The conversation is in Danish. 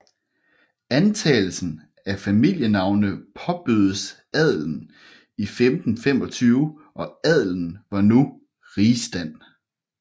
Antagelsen af familienavne påbødes adelen 1525 og adelen var nu rigsstand